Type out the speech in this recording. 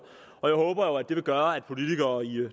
jeg håber at det vil gøre at politikere i